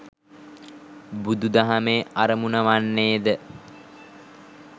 බුදු දහමේ අරමුණ වන්නේ ද